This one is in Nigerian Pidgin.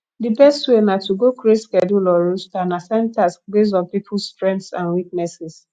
di best way na to go create schedule or roster and assign tasks based on peoples strengths and weaknesses